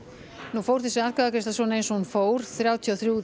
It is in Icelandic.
nú fór þessi atkvæðagreiðsla eins og hún fór þrjátíu og þrír